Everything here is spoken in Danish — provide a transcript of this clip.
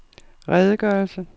redegørelse